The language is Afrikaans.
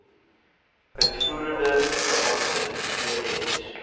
uitvoerende beampte ex